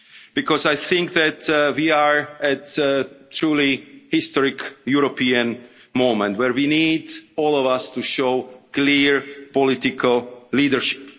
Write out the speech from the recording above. request. Because I think that we are at a truly historic European moment where we need all of us to show clear political leadership.